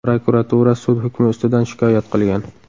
Prokuratura sud hukmi ustidan shikoyat qilgan.